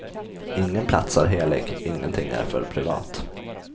Ingen plats är helig, ingenting är för privat.